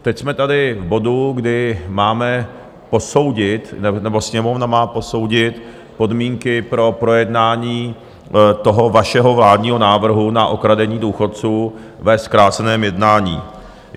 Teď jsme tady v bodu, kdy máme posoudit, nebo Sněmovna má posoudit podmínky pro projednání toho vašeho vládního návrhu na okradení důchodců ve zkráceném jednání.